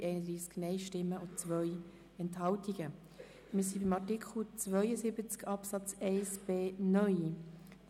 Wir sind bei Artikel 72 Absatz 1b neu angelangt.